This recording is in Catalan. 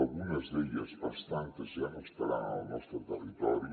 algunes d’elles bastantes ja no estaran al nostre territori